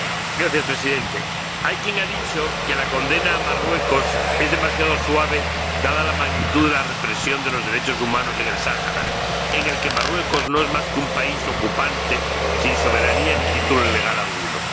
Señor Presidente, hay quien ha dicho que la condena a Marruecos es demasiado suave, dada la magnitud de la represión de los derechos humanos en el Sáhara, en el que Marruecos no es más que un país ocupante, sin soberanía ni título legal alguno.